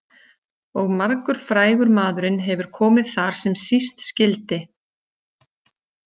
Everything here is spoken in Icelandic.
Og margur frægur maðurinn hefur komið þar sem síst skyldi.